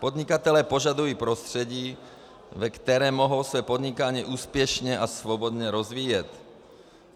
Podnikatelé požadují prostředí, ve kterém mohou své podnikání úspěšně a svobodně rozvíjet.